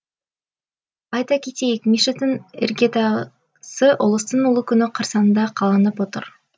айта кетейік мешіттің іргетасы ұлыстың ұлы күні қарсаңында қаланып отыр